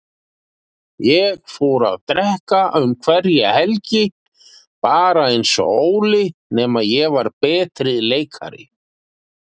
Ég fór að drekka um hverja helgi, bara einsog Óli, nema ég var betri leikari.